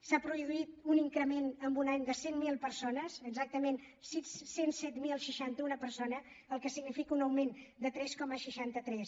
s’ha produït un increment en un any de cent miler persones exactament cent i set mil seixanta u persones cosa que significa un augment de tres coma seixanta tres